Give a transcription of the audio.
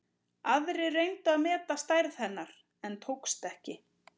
Aðrir reyndu að meta stærð hennar en tókst ekki.